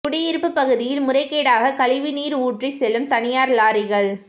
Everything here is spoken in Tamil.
குடியிருப்பு பகுதியில் முறைகேடாக கழிவு நீர் ஊற்றி செல்லும் தனியார் லாரிகள்